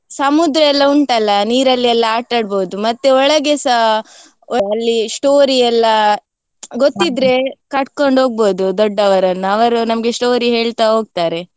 ಸಮುದ್ರ ಎಲ್ಲ ಉಂಟಲ್ಲ ನೀರಲ್ಲಿ ಎಲ್ಲ ಆಟಡ್ಬೋದು, ಮತ್ತೆ ಒಳಗೆಸ ಅಲ್ಲಿ story ಎಲ್ಲ ಗೊತ್ತಿದ್ರೆ ಹೋಗ್ಬೋದು ದೊಡ್ಡವರನ್ನು, ಅವರು ನಮ್ಗೆ story ಹೇಳ್ತಾ ಹೋಗ್ತಾರೆ.